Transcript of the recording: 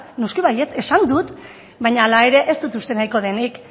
noski baietz esan dut baina hala ere ez dut uste nahiko denik